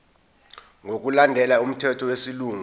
ngokulandela umthetho wesilungu